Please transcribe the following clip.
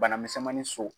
Bana misɛnmani so